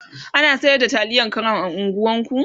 ana sayar da taliyan crown a unguwan ku?